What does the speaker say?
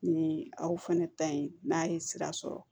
Ni aw fɛnɛ ta ye n'a ye sira sɔrɔ